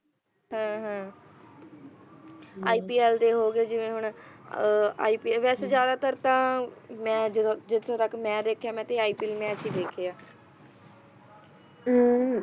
ipl ਦੇ ਹੋਗੇ ਜਿਵੇਂ ਹੁਣ ipl ਵੈਸੇ ਜਿਆਦਾ ਤਰ ਤਾਂ ਮੈਂ ਜਦੋਂ ਜਿੱਥੋਂ ਤੱਕ ਮੈਂ ਦੇਖੇ ਆਂ ਮੈਂ ਤਾਂ ipl ਮੈਚ ਦੇਖੇ ਆ ਅਮ